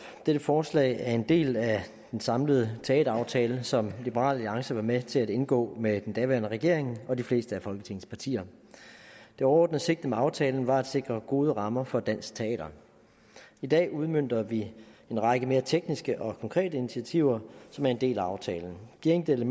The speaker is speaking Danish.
dette forslag er en del af den samlede teateraftale som liberal alliance var med til at indgå med den daværende regering og de fleste af folketingets partier det overordnede sigte med aftalen var at sikre gode rammer for dansk teater i dag udmønter vi en række mere tekniske og konkrete initiativer som er en del af aftalen de enkelte